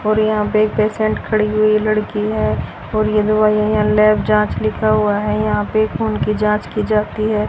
और यहां पे एक पेशेंट खड़ी हुई लड़की है और यह दवाइयां लैब जांच लिखा हुआ है यहां पे खून की जांच की जाती है।